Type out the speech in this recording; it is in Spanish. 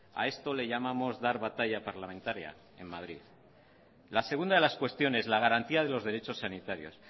a esto le llamamos dar batalla parlamentaria en madrid la segunda de las cuestiones la garantía de los derechos sanitarios